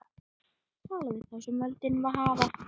Tala við þá sem völdin hafa.